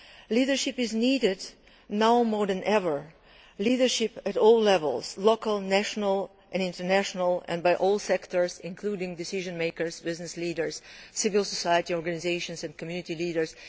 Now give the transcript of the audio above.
Leadership is needed now more than ever, leadership at all levels local, national and international and by all sectors, including decision makers, business leaders, civil society organisations and community leaders.